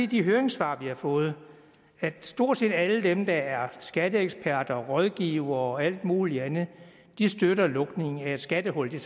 de høringssvar vi har fået at stort set alle dem der er skatteeksperter rådgivere og alt muligt andet støtter lukningen af et skattehul der